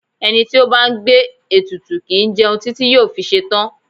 Ẹni tí ó bá ń gbé ètùtù kì í jẹun títí yóò fi ṣetán.